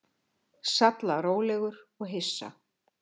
Sallarólegur og hissa.